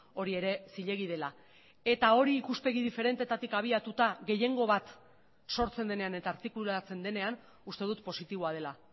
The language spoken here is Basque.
hori ere zilegi dela eta hori ikuspegi diferentetatik abiatuta gehiengo bat sortzen denean eta artikulatzen denean uste dut positiboa dela